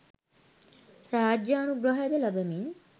රාජානුග්‍රහයද ලබමින්,